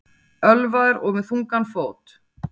Ölvaður og með þungan fót